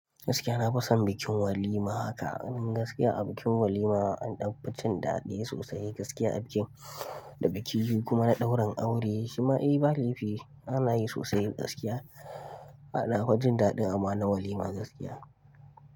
Gaskiya na fi son bikin walima haka. Gaskiya a bikin walima an ɗan fi cin daɗi sosai gaskiya a bikin da biki kuma na ɗaurin aure shima eh ba laifi ana yi sosai gaskiya. A na fa daɗi amma na walima gaskiya.